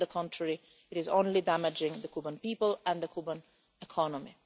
On the contrary, it is only damaging the Cuban people and the Cuban economy.